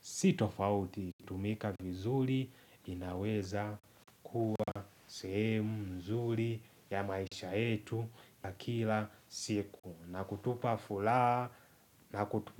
sitofauti tumika vizuri inaweza kuwa sehemu mzuri ya maisha yetu ya kila siku na kutupa furaha na kutupa.